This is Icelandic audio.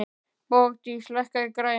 Bogdís, lækkaðu í græjunum.